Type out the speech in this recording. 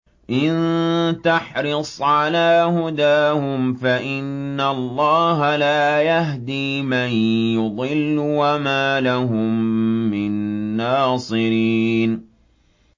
إِن تَحْرِصْ عَلَىٰ هُدَاهُمْ فَإِنَّ اللَّهَ لَا يَهْدِي مَن يُضِلُّ ۖ وَمَا لَهُم مِّن نَّاصِرِينَ